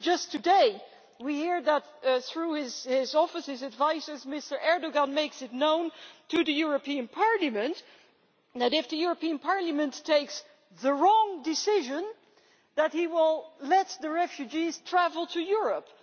Just today we hear that, through his office's advisers, Mr Erdoğan makes it known to the European Parliament that, if the European Parliament takes the wrong decision, he will let the refugees travel to Europe.